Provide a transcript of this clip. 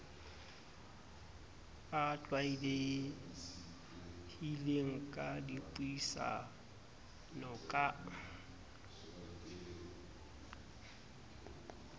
a tlwaelehileng a dipuisano ka